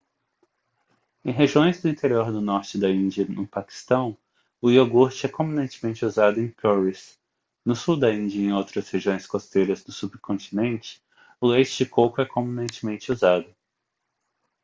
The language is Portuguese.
em regiões do interior do norte da índia e no paquistão o iogurte é comumente usado em curries no sul da índia e em outras regiões costeiras do subcontinente o leite de coco é comumente usado